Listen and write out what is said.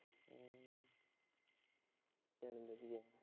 ਚੱਲ ਵਧੀਆ।